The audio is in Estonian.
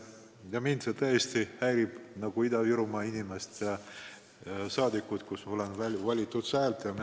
Mind kui Ida-Virumaa elanikku ja rahvasaadikut, kes on sealt valitud, see tõesti häirib.